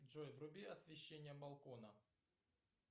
джой вруби освещение балкона